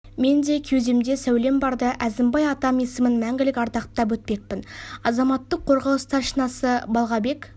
мен де кеудемде сәулем барда әзімбай атам есімін мәңгілік ардақтап өтпекпін азаматтық қорғау старшинасы балғабек